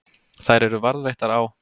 Þær eru varðveittar á